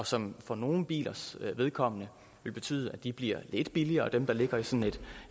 som for nogle bilers vedkommende vil betyde at de bliver lidt billigere dem der ligger i sådan